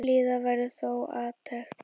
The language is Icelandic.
Bíða verði þó átekta.